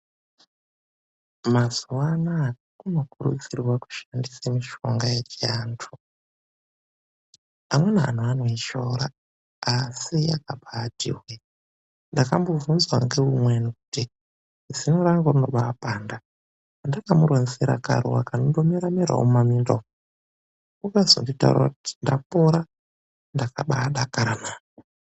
Mazuva anaa kunokurudzirwa kushandise mishonga yechiantu. Amweni antu anoishoora asi yakabaati hweee ndakambobunzwa ngeumweni kuti, "Zino rangu rinobaapanda." Ndakamuronzera karuwa konongo merawo mumaminda umwu. Wakazondironzera kuti ndapora ndakabaadakara mani.